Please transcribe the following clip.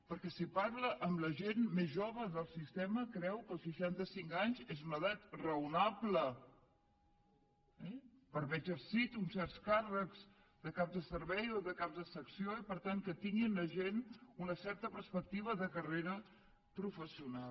perquè si parla amb la gent més jove del sistema creu que els seixanta cinc anys és una edat raonable per haver exercit uns certs càrrecs de cap de servei o de cap de secció i per tant que tingui la gent una certa perspectiva de carrera professional